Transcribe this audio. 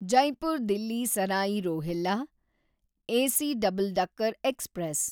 Jaipur Delhi Sarai Rohilla AC double decker express